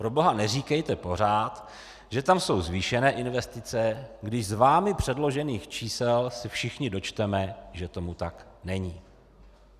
Proboha neříkejte pořád, že tam jsou zvýšené investice, když z vámi předložených čísel se všichni dočteme, že tomu tak není.